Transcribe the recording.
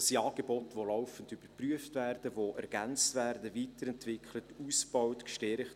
Das sind Angebote, die laufend überprüft werden, die ergänzt, weiterentwickelt, ausgebaut und gestärkt werden.